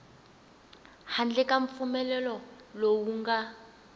handle ka mpfumelelo lowu nga